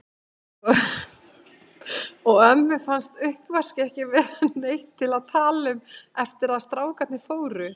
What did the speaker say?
Og ömmu fannst uppvaskið ekki vera neitt til að tala um eftir að strákarnir fóru.